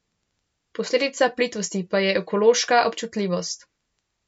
Posledica plitvosti pa je ekološka občutljivost.